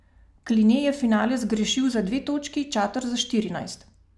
Kline je finale zgrešil za dve točki, Čater za štirinajst.